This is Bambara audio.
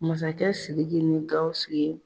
Masakɛ Sidiki ni Gawusu ye